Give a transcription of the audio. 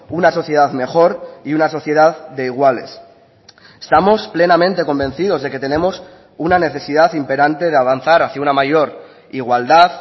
una sociedad mejor y una sociedad de iguales estamos plenamente convencidos de que tenemos una necesidad imperante de avanzar hacia una mayor igualdad